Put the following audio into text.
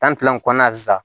Tan ni fila in kɔnɔna na sisan